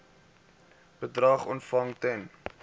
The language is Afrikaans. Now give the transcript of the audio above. bedrag ontvang ten